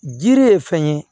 Jiri ye fɛn ye